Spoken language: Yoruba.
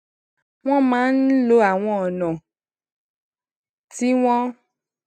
wón máa ń lo àwọn ònà tí wón